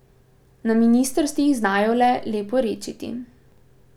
Na ministrstvih znajo le leporečiti.